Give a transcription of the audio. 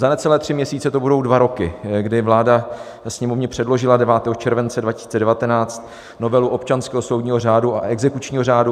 Za necelé tři měsíce to budou dva roky, kdy vláda Sněmovně předložila 9. července 2019 novelu občanského soudního řádu a exekučního řádu.